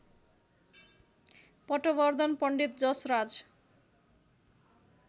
Patwardhan Pandit Jasraj